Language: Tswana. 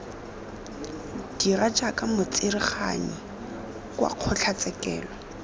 dira jaaka motsereganyi kwa kgotlatshekelo